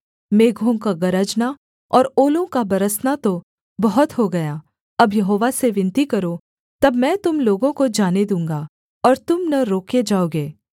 मेघों का गरजना और ओलों का बरसना तो बहुत हो गया अब यहोवा से विनती करो तब मैं तुम लोगों को जाने दूँगा और तुम न रोके जाओगे